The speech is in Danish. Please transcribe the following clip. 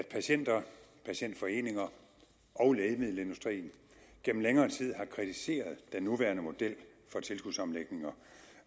at patienter patientforeninger og lægemiddelindustrien gennem længere tid har kritiseret den nuværende model for tilskudsomlægninger